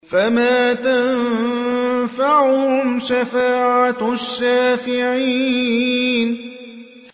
فَمَا تَنفَعُهُمْ شَفَاعَةُ الشَّافِعِينَ